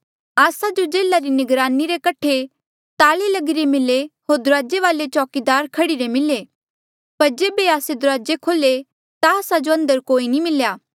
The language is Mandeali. बोल्या आस्सा जो जेल्हा री निगरानी रे कठे ताले लगिरे मिले होर दुराजे वाले चौकीदार खड़ीरे मिले थे पर जेबे आस्से दुराजे खोल्हे ता आस्सा जो अंदर कोई नी मिल्या